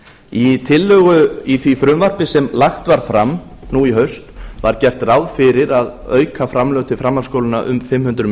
í tillögu í því frumvarpi sem lagt var fram nú í haust var gert ráð fyrir að auka framlög til framhaldsskólanna um fimm hundruð